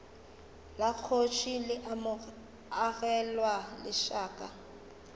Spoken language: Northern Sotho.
la kgoši le agelwa lešaka